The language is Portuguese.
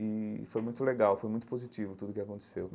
E foi muito legal, foi muito positivo tudo o que aconteceu.